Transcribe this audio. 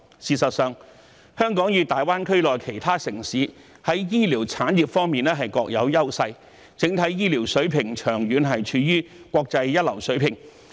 事實上，香港與大灣區內其他城市在醫療產業方面各有優勢，整體醫療水平長期處於國際一流水平。